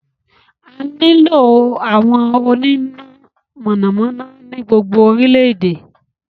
A nílò àwọn onímọ̀ iná mọ̀nàmọ́ná ní gbogbo orílẹ̀-èdè.